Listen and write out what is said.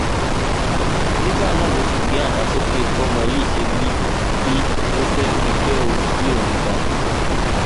nígbà náà ló sì gbé àdá sókè bọmọ yìí ṣe wí wí ló fẹẹ fi bẹ orí òun dànù